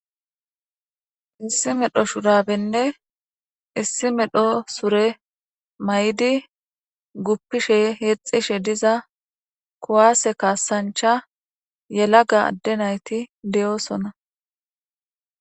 Issi medho shudabenne issi medho sure may'di guppishe heexxishe diza kuwaase kaasancha yelaga adde nayti deyoosona.